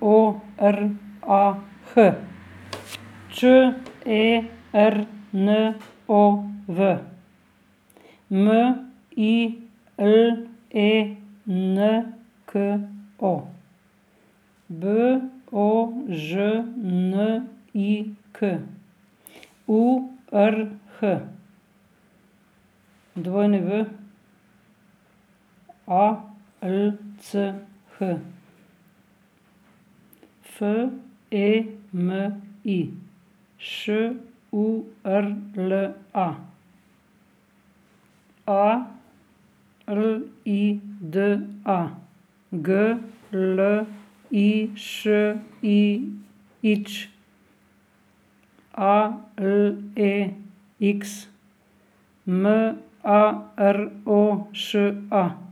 O R A H, Č E R N O V; M I L E N K O, B O Ž N I K; U R H, W A L C H; F E M I, Š U R L A; A L I D A, G L I Š I Ć; A L E X, M A R O Š A.